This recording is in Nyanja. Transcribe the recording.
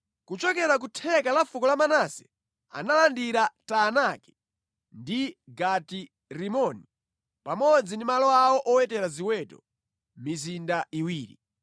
Kuchokera ku theka la fuko la Manase analandira Taanaki ndi Gati-Rimoni pamodzi ndi malo awo owetera ziweto, mizinda iwiri.